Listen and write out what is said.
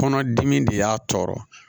Kɔnɔdimi de y'a tɔɔrɔ